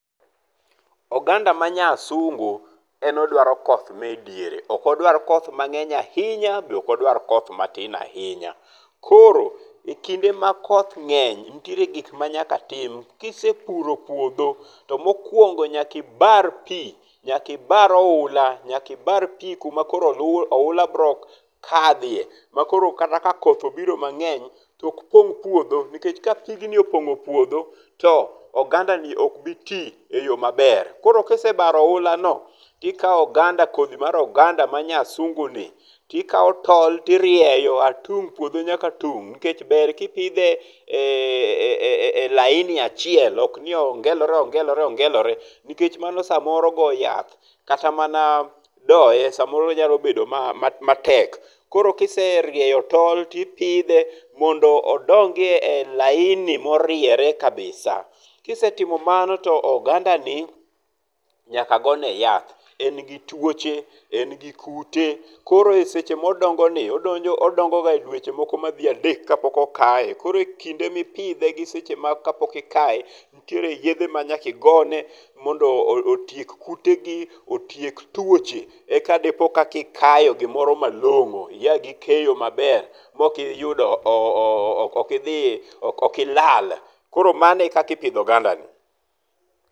Oganda ma nyasungu en odwaro koth me diere. Ok odwar koth mang'eny ahinya bende ok odwar koth matin ahinya. Koro, e kinde ma koth ng'eny, nitiere gik ma nyaka tim. Kies puro puodho to mokuongo nyaki ibar pi. Nyaka ibar oula. Nyaka ibar pi kuma koro oula biro kadhie ma koro kata ka koth obiro mang'eny to ok pong' puodho. Nikech ka pigni opong'o puodho to oganda ni ok bi ti e yo maber. Koro ka isebaro oula no, to ikawo oganda, kodhi mar oganda ma nyasungu ni ti kawo tol tirieyo a tung' puodho nyaka tung' nikech ber kipidhe e laini achiel ok ni ongelore ongelore ongelore. Nikech mano samoro goyo yath kata mana doye samoro nyalo bedo matek. Koro kiserieyo tol tipidhe mondo odong e laini moriere kabisa. Kisetimo mano to oganda ni nyaka go ne yath. E gi tuoche, en gi kute. Koro eseche modongoni, odongo ga dweche moko madhi adek ka pok okaye. Koro kinde mipidhe gi seche ma ka pok ikaye nitiere yedhe ma nyaka igone mondo otiek kute gi, otiek tuoche eka dipo ka ikayo gimoro malong'o, ia gi keyo mabel ma ok iyudo, ok idhi, ok ilal. Koro mano e kaka ipidho oganda ni.